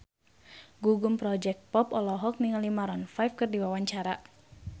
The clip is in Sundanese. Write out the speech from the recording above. Gugum Project Pop olohok ningali Maroon 5 keur diwawancara